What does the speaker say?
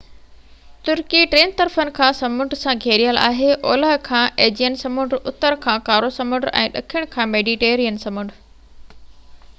ترڪي ٽن طرفن کان سمنڊ سان گهيريل آهي اولهہ کان ايجيئن سمنڊ اتر کان ڪارو سمنڊ ۽ ڏکڻ کان ميڊيٽرينين سمنڊ